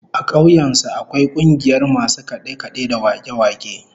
A kauyen su akwai kungiyar masu kade-kade da wake-wake